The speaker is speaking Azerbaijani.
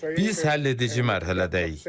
Biz həlledici mərhələdəyik.